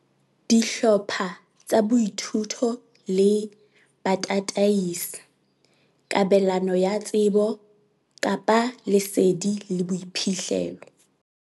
Dihlopha tsa boithuto le batataisi- Kabelano ya tsebo, lesedi le boiphihlelo.